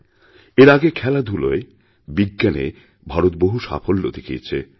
এর আগে খেলাধুলায় বিজ্ঞানে ভারত বহু সাফল্য দেখিয়েছে